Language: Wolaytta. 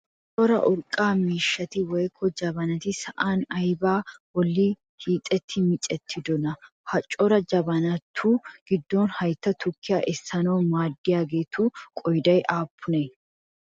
Cora urqqaa miishshati woyikko jabanati sa'an aybaa bolli hiixettidi micettidonaa? Ha cora jabanatu giddon hayitta tukkiyaa essanaassi maaddiyaageetu qoodayi aappunee?